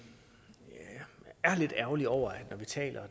jeg er lidt ærgerlig over at når vi taler